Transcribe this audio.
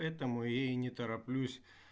поэтому я и не тороплюсь